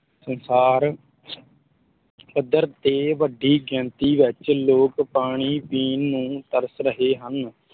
ਸੰਸਾਰ ਪੱਧਰ ਤੇ ਵੱਡੀ ਗਿਣਤੀ ਵਿੱਚ ਲੋਕ ਪਾਣੀ ਪੀਣ ਨੂੰ ਤਰਸ ਰਹੇ ਹਨ